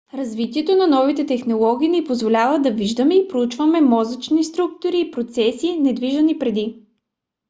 развитието на новите технологии ни позволява да виждаме и проучваме мозъчни структури и процеси невиждани преди